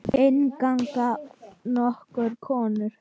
Inn ganga nokkrar konur.